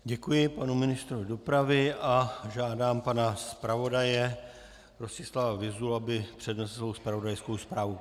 Děkuji panu ministrovi dopravy a žádám pana zpravodaje Rostislava Vyzulu, aby přednesl zpravodajskou zprávu.